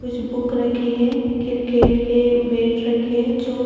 एक बुक रखी है एक क्रिकेट के बैग रखे है जो--